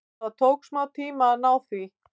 Það tók smá tíma að ná því.